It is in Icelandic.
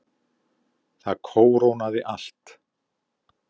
Það kórónaði allt.